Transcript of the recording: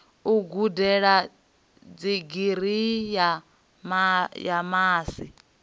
u gudela digirii ya masi